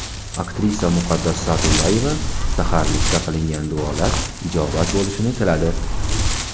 Aktrisa Muqaddas Sa’dullayeva saharlikda qilingan duolar ijobat bo‘lishini tiladi.